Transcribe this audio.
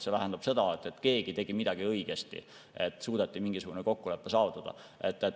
See tähendab seda, et keegi tegi midagi õigesti, et suudeti mingisugune kokkulepe saavutada.